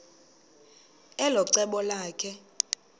elo cebo lakhe